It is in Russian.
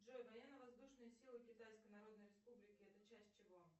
джой военно воздушные силы китайской народной республики это часть чего